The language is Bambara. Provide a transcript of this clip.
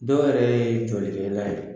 Dɔw yɛrɛ ye jɔlikɛla ye.